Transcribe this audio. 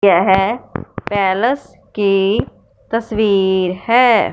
यह पैलेस की तस्वीर हैं।